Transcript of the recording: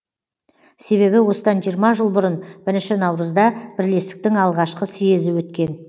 себебі осыдан жиырма жыл бұрын бірінші наурызда бірлестіктің алғашқы съезі өткен